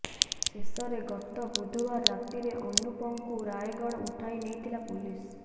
ଶେଷରେ ଗତ ବୁଧବାର ରାତିରେ ଅନୁପଙ୍କୁ ରାୟଗଡ଼ ଉଠାଇ ନେଇଥିଲା ପୋଲିସ